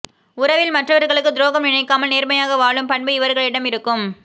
உறவில் மற்றவர்களுக்கு துரோகம் நினைக்காமல் நேர்மையாக வாழும் பண்பு இவர்களிடம் இருக்கும்